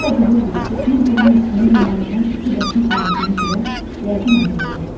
Bunu da bilirdik ki, bir-birinin üstünə yumallanan iki daşın arasına girən yəqin əziləcəkdir.